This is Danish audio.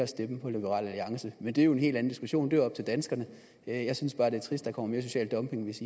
stemme på liberal alliance men det er jo en helt anden diskussion det er op til danskerne jeg synes bare det er trist der kommer mere social dumping hvis